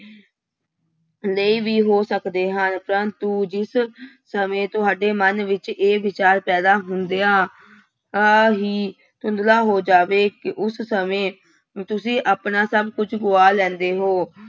ਲਈ ਵੀ ਹੋ ਸਕਦੇ ਹਨ ਪਰੰਤੂ ਜਿਸ ਸਮੇਂ ਤੁਹਾਡੇ ਮਨ ਵਿੱਚ ਇਹ ਵਿਚਾਰ ਪੈਦਾ ਹੁੰਦਿਆਂ ਆਂ ਹੀ ਧੁੰਦਲਾ ਹੋ ਜਾਵੇ ਕਿ ਉਸ ਸਮੇਂ ਤੁਸੀਂ ਆਪਣਾ ਸਭ ਕੁੱਝ ਗਵਾ ਲੈਂਦੇ ਹੋ।